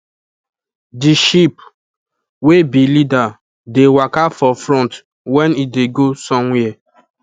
the sheep wey be leader dey waka for front when e dey go somewhere